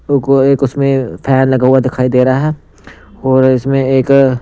एक उसमें फैन लगा हुआ दिखाई दे रहा है और इसमें एक--